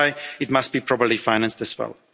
European Union. That's why it must be properly